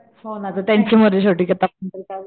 हो ना ग त्यांची मर्जी शेवटी आता आपण तर काय बोलणार